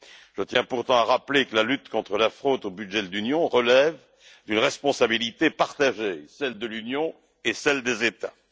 Je tiens pourtant à rappeler que la lutte contre la fraude au budget de l'Union relève d'une responsabilité partagée celle de l'Union et celle des États.